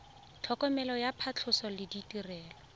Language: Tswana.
tlhokomelo ya phatlhoso le ditirelo